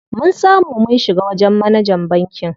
Mun samu mun shiga wajen manajan bankin.